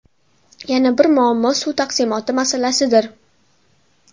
Yana bir muammo suv taqsimoti masalasidir.